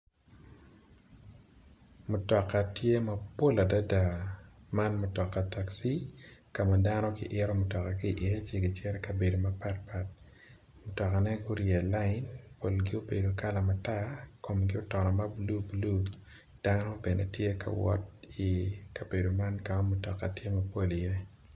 Mutoka mogo tye mapol adada, man mutoka takci ka dano giito matoka ki iye ka gicito ka mukene mutokane gurye i line, polgi obedo kala matar komgi otono mabulu bulu, dano bene tye ka wot i kabedo ka mutoka tye kawot i ye.